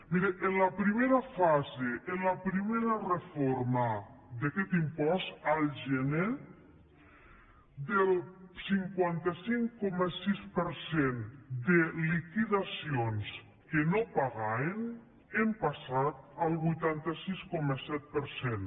miri en la primera fase en la primera reforma d’aquest impost al gener del cinquanta cinc coma sis per cent de liquidacions que no pagaven hem passat al vuitanta sis coma set per cent